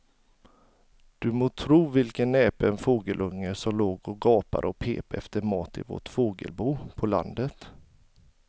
Du må tro vilken näpen fågelunge som låg och gapade och pep efter mat i vårt fågelbo på landet.